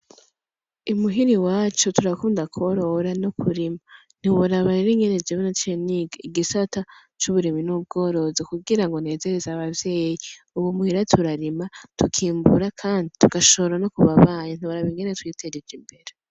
I muhira iwacu turakunda kworora no kurima ntiworaba rero ingene jewe naciye niga igisata c'uburimyi n'ubworozi kugira ngo nezereze abavyeyi, ubu muhira turarima tukimbura kandi tugashobora no kuba banyi, ntiworaba ingene twiteje imbere.